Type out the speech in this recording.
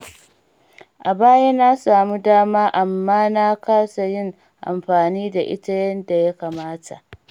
A baya na samu dama amma na kasa yin amfani da ita yanda ya kamata.